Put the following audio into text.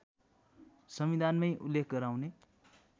संविधानमै उल्लेख गराउने